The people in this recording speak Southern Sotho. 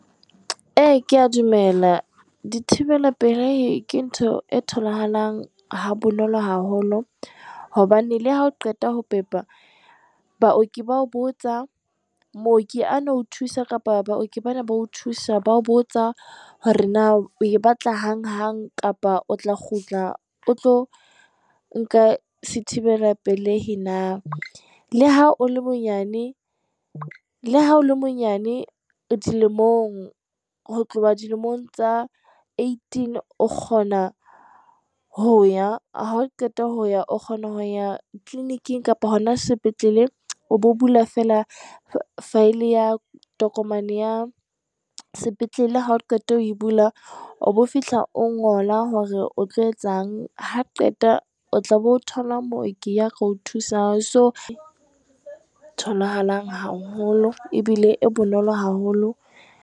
Ee, kea dumela, dithibela pelehi, ke ntho e tholahalang ha bonolo haholo, hobane le hao qeta ho pepa, Baoki ba ho botsa, Mooki a na o thusa kapa Baoki ba neng ba o thusa, bao botsa hore na e o e batla hang-hang, kapa o tla kgutla o tlo nka se thibela pelehi na. Le ha o le monyane dilemong, ho tloha dilemong tsa Eighteen, o kgona ho ya, hao qeta ho ya o kgona ho ya clinic-ng kapa hona sepetlele, o bo bula feela file ya tokomane ya sepetlele. Ha o qeta ho e bula, o bo fihla, o ngola hore o tlo etsang, ha o qeta o tla be o thola Mooki ya tla o thusa, tholahalang haholo, ebile e bonolo haholo.